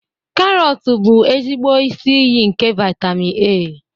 karots bụ ezigbo isi iyi nke vitamin A